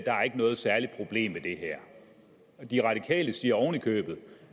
noget særligt problem i det her de radikale siger oven i købet